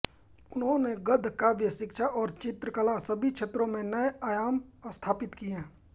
उन्होंने गद्य काव्य शिक्षा और चित्रकला सभी क्षेत्रों में नए आयाम स्थापित किये